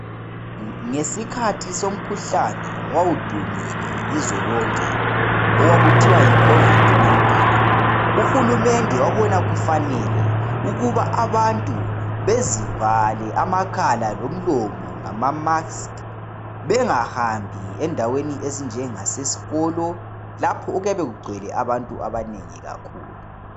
Ngesikhathi somkhuhlane owawudumile ilizwe lonke okwakuthiwa yi khovidi nayintini uhulumende wabona kufane ukuba abantu bezivale amakhala lomlomo ngamamaski bengahambi endaweni ezinjengasesikolo lapho okuyabe kugcwele abantu abanengi kakhulu.